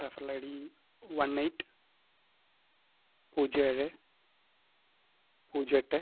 referralIDone eight പൂജ്യം ഏഴെ പൂജ്യം എട്ടേ